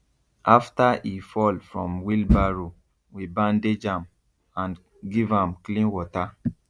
after e fall from wheelbarrow we bandage am and give am clean water